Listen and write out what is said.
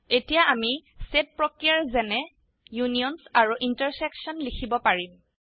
এতিয়া আমি সেট প্ৰক্ৰিয়া যেনে ইউনিয়নছ আৰু ইণ্টাৰচেকশ্যন লিখিব পাৰিম